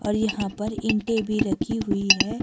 और यहां पर ईंटे भी रखी हुई है।